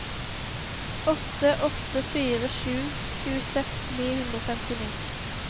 åtte åtte fire sju tjueseks ni hundre og femtini